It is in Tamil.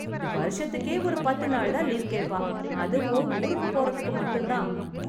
வருஷத்துக்கே ஒரு பத்து நாள் தான் லீவ் கேப்பா, அதுவும் ஊருக்கு போறத்துக்கு மட்டும் தான்.